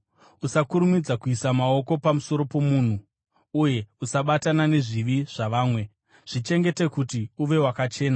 Usakurumidza kuisa maoko pamusoro pomunhu, uye usabatana nezvivi zvavamwe. Zvichengete kuti uve wakachena.